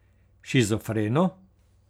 Shizofreno?